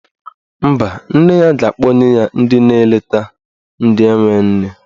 Mba, nne ya ga-akpọnye ya ndị na-eleta ndị enwe nne.